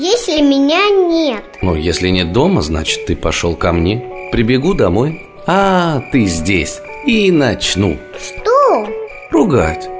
есть ли меня нет но если нет дома значит ты пошёл ко мне прибегу домой ты здесь и начну что ругать